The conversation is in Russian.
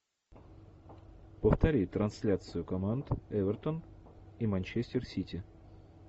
повтори трансляцию команд эвертон и манчестер сити